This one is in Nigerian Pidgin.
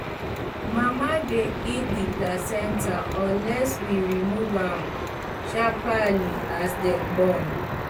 mama dy eat the placenta unless we remove am sharparly as dem born